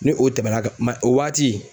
Ni o tɛmɛna ka o waati